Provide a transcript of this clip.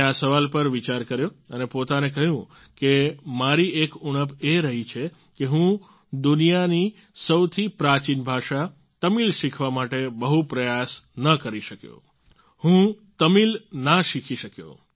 મેં આ સવાલ પર વિચાર કર્યો અને પોતાને કહ્યું કે મારી એક ઉણપ એ રહી છે કે હું દુનિયાની સૌથી પ્રાચિન ભાષા તમિલ શીખવા માટે બહુ પ્રયાસ ન કરી શક્યો હું તમિલ ના શીખી શક્યો